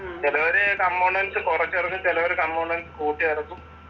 ചിലര് components കുറച്ചിറക്കും, ചിലര് components കൂട്ടിയിറക്കും